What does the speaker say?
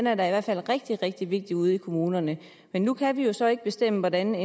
er da i hvert fald rigtig rigtig vigtig ude i kommunerne men nu kan vi jo så ikke bestemme hvordan